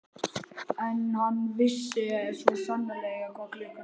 En hann vissi svo sannarlega hvað klukkan sló.